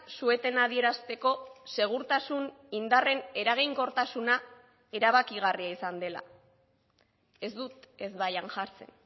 su etena adierazteko segurtasun indarren eraginkortasuna erabakigarria izan dela ez dut ezbaian jartzen